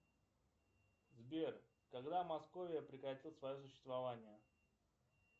сбер когда московия прекратит свое существование